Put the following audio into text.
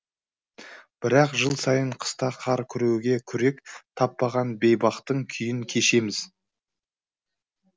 бірақ жыл сайын қыста қар күреуге күрек таппаған бейбақтың күйін кешеміз